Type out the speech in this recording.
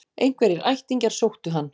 Einhverjir ættingjar sóttu hann